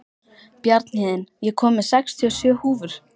Bjarnhéðinn, ég kom með sextíu og sjö húfur!